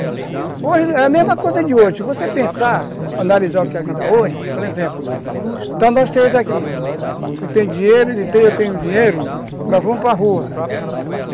É a mesma coisa de hoje, se você pensar, analisar o que é a vida hoje, por exemplo, então nós três aqui, você tem dinheiro, ele tem, eu tenho dinheiro, nós vamos para rua.